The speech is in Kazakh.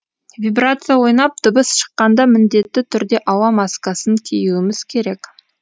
вибрация ойнап дыбыс шыққанда міндетті түрде ауа маскасын киюіміз керек